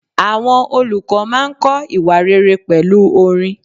Àwọn olùkọ́ máa ń kọ́ ìwà rere pẹ̀lú orin.